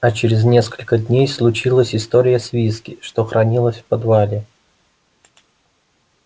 а через несколько дней случилась история с виски что хранилось в подвале